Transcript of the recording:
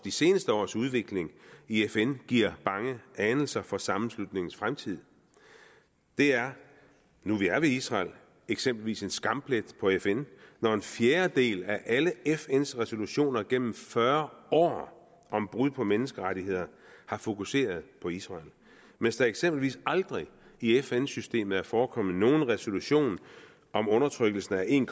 seneste års udvikling i fn giver bange anelser for sammenslutningens fremtid det er nu vi er ved israel eksempelvis en skamplet på fn når en fjerdedel af alle fns resolutioner gennem fyrre år om brud på menneskerettigheder har fokuseret på israel mens der eksempelvis aldrig i fn systemet har forekommet nogen resolution om undertrykkelsen af en